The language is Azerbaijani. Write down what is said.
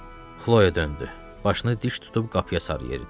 Xloya döndü, başını diş tutub qapıya sarı yeridi.